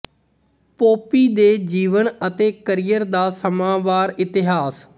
Pompey ਦੇ ਜੀਵਨ ਅਤੇ ਕੈਰੀਅਰ ਦਾ ਸਮਾਂਵਾਰ ਇਤਿਹਾਸ